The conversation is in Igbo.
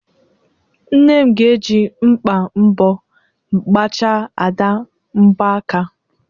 Nne m ga-eji mkpa mbọ gbachaa Ada mbọ aka.